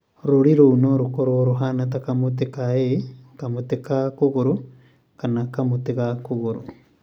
Rũũri rũu no rũkorũo rũhaana ta kamũtĩ ka ĩĩ (✓), kamũtĩ ka kũgũrũ (⁇), kana kamũtĩ ka kũgũrũ.